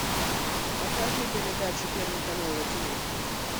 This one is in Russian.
покажи передачу первый канал на тв